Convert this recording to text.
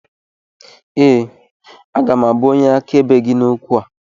Ee, aga m abụ onye akaebe gị n’okwu a